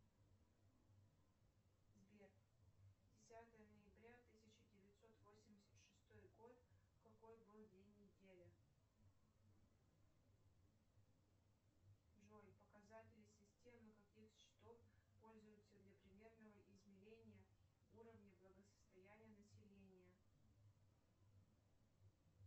сбер десятое ноября тысяча девятьсот восемьдесят шестой год какой был день недели джой показатели системы каких счетов пользуются для примерного изменения уровня благосостояния населения